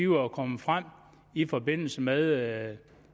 var kommet frem i forbindelse med